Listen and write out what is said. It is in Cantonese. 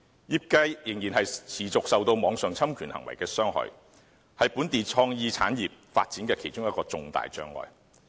業界仍然持續受網上侵權行為的傷害，是本地創意產業發展的其中一個重大障礙。